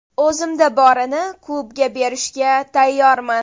O‘zimda borini klubga berishga tayyorman.